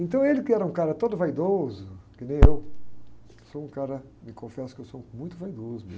Então ele que era um cara todo vaidoso, que nem eu, sou um cara, me confesso que eu sou muito vaidoso.